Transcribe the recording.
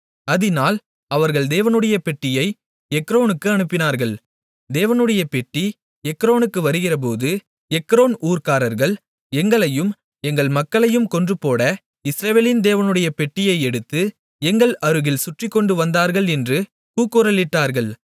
அதினால் அவர்கள் தேவனுடைய பெட்டியை எக்ரோனுக்கு அனுப்பினார்கள் தேவனுடைய பெட்டி எக்ரோனுக்கு வருகிறபோது எக்ரோன் ஊர்க்காரர்கள் எங்களையும் எங்கள் மக்களையும் கொன்றுபோட இஸ்ரவேலின் தேவனுடைய பெட்டியை எடுத்து எங்கள் அருகில் சுற்றிக்கொண்டு வந்தார்கள் என்று கூக்குரலிட்டார்கள்